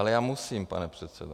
Ale já musím, pane předsedo.